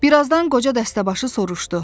Bir azdan qoca dəstəbaşı soruşdu: